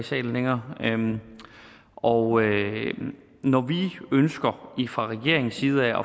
salen længere og når vi fra regeringens side